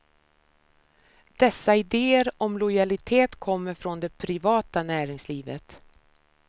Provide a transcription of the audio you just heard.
Dessa idéer om lojalitet kommer från det privata näringslivet.